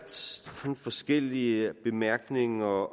forskellige bemærkninger